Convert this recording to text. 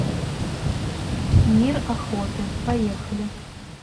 мир охоты поехали